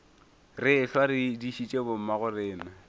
re ehlwa re dišitše bommagorena